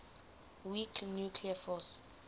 weak nuclear force